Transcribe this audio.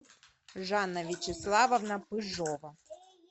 жанна вячеславовна пыжова